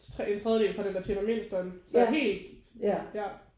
En tredjedel fra dem der tjener mindst og en så helt ja